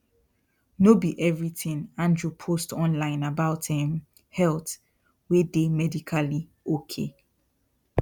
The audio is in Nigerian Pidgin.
no be everything andrew post online about um health wey dey medically okay